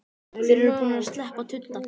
Þeir eru búnir að sleppa tudda!